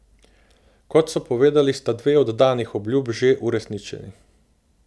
Kot so povedali, sta dve od danih obljub že uresničeni.